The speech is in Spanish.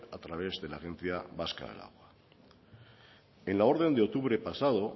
a través de la agencia vasca del agua en la orden de octubre pasado